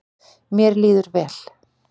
Mér líður vel.